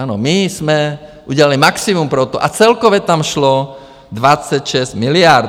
Ano, my jsme udělali maximum pro to, a celkově tam šlo 26 miliard.